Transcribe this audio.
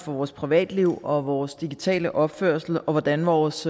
for vores privatliv og vores digitale opførsel og hvordan vores